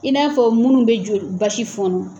I n'a fɔ minnu bɛ joli basi fɔnɔ.